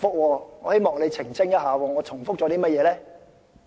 我希望你澄清一下，我重複了甚麼？